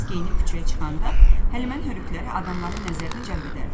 Biz geyinib küçəyə çıxanda Həlimənin hörükələri adamların nəzərini cəlb edərdi.